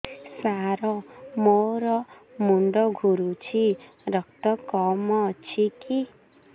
ସାର ମୋର ମୁଣ୍ଡ ଘୁରୁଛି ରକ୍ତ କମ ଅଛି କି